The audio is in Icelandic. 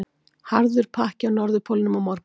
Harður pakki á Norðurpólnum á morgun